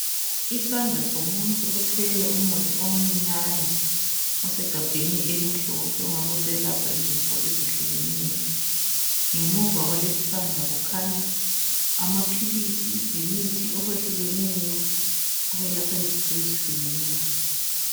Isandla somuntu othwele umuthi omncinyane osegabheni elimhlophe ongabe uselapha izifo ezihlukeneyo. Ngemuva kwalesi isandla kukhanya amaphilisi lemithi okwehlukeneyo okwelapha izifo ezihlukeneyo.